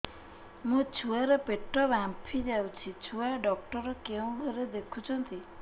ମୋ ଛୁଆ ର ପେଟ ଫାମ୍ପି ଯାଉଛି ଛୁଆ ଡକ୍ଟର କେଉଁ ଘରେ ଦେଖୁ ଛନ୍ତି